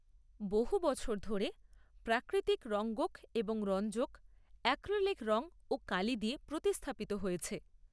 বহু বছর ধরে প্রাকৃতিক রঙ্গক এবং রঞ্জক অ্যাক্রিলিক রং ও কালি দিয়ে প্রতিস্থাপিত হয়েছে।